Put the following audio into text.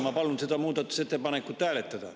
Ma palun seda muudatusettepanekut hääletada.